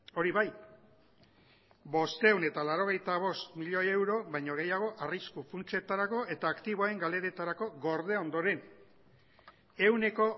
hori bai bostehun eta laurogeita bost milioi euro baino gehiago arrisku funtsetarako eta aktiboen galeretarako gorde ondoren ehuneko